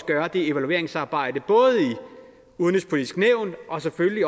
gøre det evalueringsarbejde i udenrigspolitisk nævn og selvfølgelig